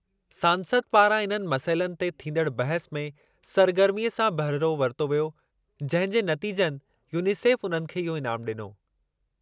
सांसद पारां इन्हनि मसइलनि ते थीदड़ बहसु में सरगर्मीअ सां बहिरो वरितो वियो, जंहिं जे नतीजनि यूनिसेफ उन्हनि खे इहो इनामु ॾिनो।